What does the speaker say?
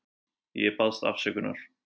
Ég baðst afsökunar.